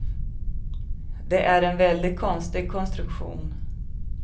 Det är en väldigt konstig konstruktion.